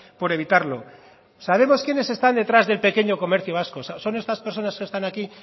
por evitarlo sabemos quiénes están detrás del pequeño comercio vasco son estas personas que están aquí